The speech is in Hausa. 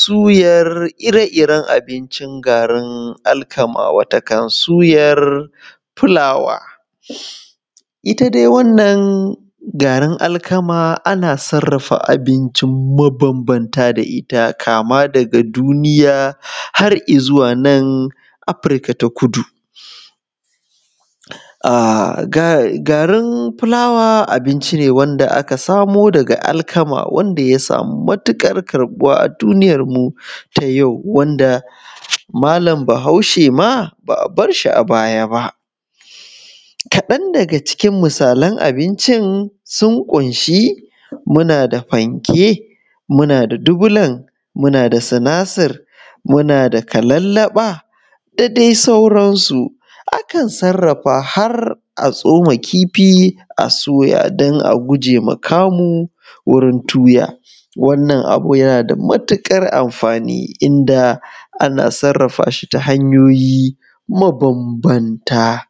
suyar ire iren abincin garin alkama watakan suyar fulawa ita dai wannan garin alkama ana sarrafa abinci mabambanta da ita kama daga duniya har i zuwa nan afirka ta kudu xxx garin fulawa abinci ne wanda aka samo daga alkama wanda ya samu matuƙar karɓuwa a duniyarmu ta yau wanda malam bahaushe ma ba a bar shi a baya ba kaɗan daga cikin misalan abincin sun ƙunshi muna da fanke muna da dubulan muna da sinasir muna da kalallaɓa da dai sauransu akan sarrafa har tsoma kifi a soya don a guje ma kamu wurin tuya wannan abin yana da matuƙar amfani inda ana sarrafa shi ta hanyoyi mabambanta